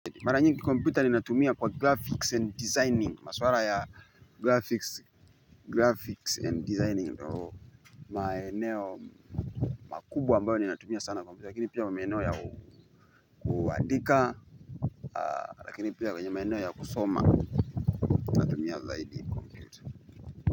Mara nyingi computer ni natumia kwa graphics and designing, maswala ya graphics and designing maeneo makubwa ambayo ni natumia sana computer, lakini pia maeneo ya kuandika, lakini pia kwenye maeneo ya kusoma.